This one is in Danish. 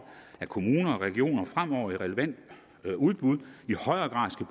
at kommuner og regioner fremover ved relevante udbud i højere grad skal